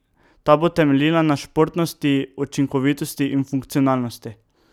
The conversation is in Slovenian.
Ta bo temeljila na športnosti, učinkovitost in funkcionalnosti.